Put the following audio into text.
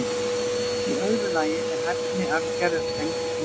Í öðru lagi er hæfni arfgerða tengd umhverfi.